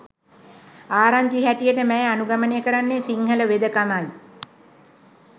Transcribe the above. ආරංචි හැටියට මැය අනුගමනය කරන්නේ සිංහල වෙදකමයි.